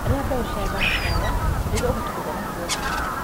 Iria mbeũ cia sunflower nĩguo ũhote kũgĩa na proteini.